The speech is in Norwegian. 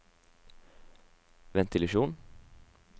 ventilasjon